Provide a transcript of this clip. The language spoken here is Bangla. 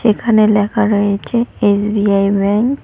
এখানে লেখা রয়েছে এস_বি_আই ব্যাঙ্ক